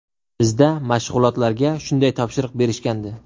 Bizda mashg‘ulotlarga shunday topshiriq berishgandi.